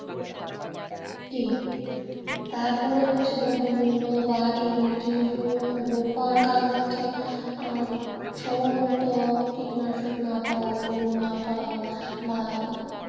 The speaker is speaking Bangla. তারপরে হচ্ছে দ্রব্যমূল্য বা এই জিনিসগুলো লোপ পাওয়ার কারণ হচ্ছে যে আহ সময়মত কীটনাশক না পাওয়া loan না পাওয়া বা।